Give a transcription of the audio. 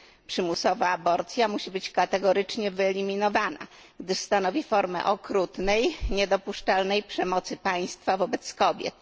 Przymusowa aborcja musi być kategorycznie wyeliminowana, gdyż stanowi formę okrutnej i niedopuszczalnej przemocy państwa wobec kobiet.